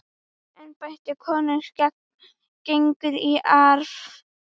Embætti konungs gengur í arf.